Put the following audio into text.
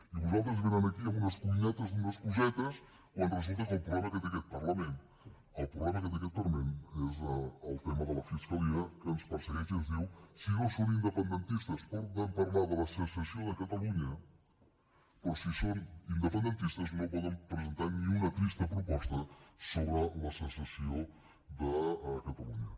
i vosaltres veniu aquí amb unes cuinetes d’unes cosetes quan resulta que el problema que té aquest parlament és el tema de la fiscalia que ens persegueix i ens diu si no són independentistes poden parlar de la secessió de catalunya però si són independentistes no poden presentar ni una trista proposta sobre la secessió de catalunya